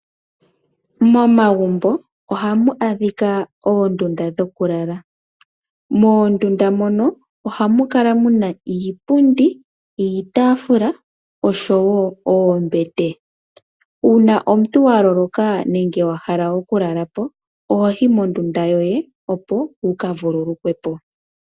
Momagumbo ohamu adhika oondunda dhoku lala, moondunda mono ohamu kala muna iipundi, iitafula oshowo oombete, uuna omuntu wa loloka nenge wahala oku lala po ohoyi mondunda yoye opo wuka vululukwe po.